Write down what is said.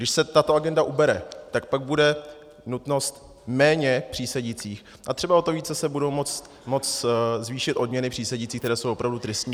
Když se tato agenda ubere, tak pak bude nutnost méně přísedících a třeba o to více se budou moct zvýšit odměny přísedících, které jsou opravdu tristní.